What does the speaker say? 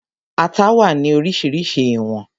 Ata wà ní oríṣiríṣi ní ìwọ̀n